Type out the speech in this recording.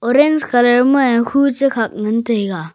orange colour ma khu chekhak ngan taiga.